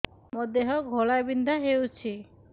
ମୋ ଦେହ ଘୋଳାବିନ୍ଧା ହେଉଛି